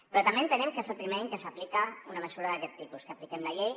però també entenem que és el primer any que s’aplica una mesura d’aquest tipus que apliquem la llei